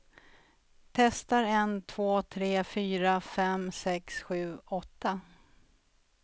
Testar en två tre fyra fem sex sju åtta.